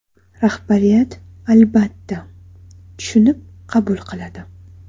Rahbariyat, albatta, tushunib qabul qiladi.